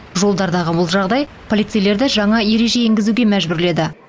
жолдардағы бұл жағдай полицейлерді жаңа ереже енгізуге мәжбүрледі